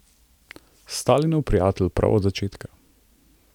Stalinov prijatelj prav od začetka.